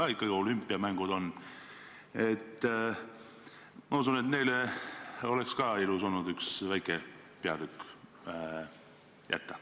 Ka neil on olümpiamängud ja ma usun, et olnuks ilus ka neile üks väike peatükk jätta.